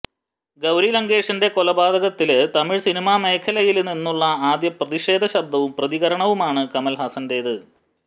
ഗൌരി ലങ്കേഷിന്റെ കൊലപാതകത്തില് തമിഴ് സിനിമാമേഖലയില് നിന്നുള്ള ആദ്യ പ്രതിഷേധ ശബ്ദവും പ്രതികരണവുമാണ് കമല്ഹാസന്റേത്